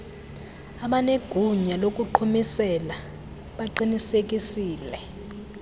abanegunya lokuqhumisela baqinisekisile